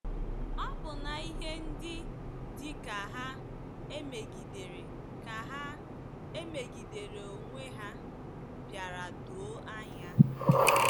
Ọbụna ihe ndị dị ka ha emegidere ka ha emegidere onwe ha bịara doo anya.